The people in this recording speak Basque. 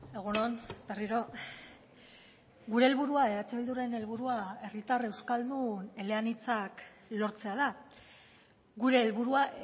egun on berriro gure helburua eh bilduren helburua herritar euskaldun eleanitzak lortzea da gure helburua